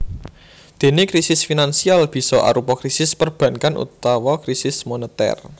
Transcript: Déné krisis finansial bisa arupa krisis perbankan utawa krisis monetèr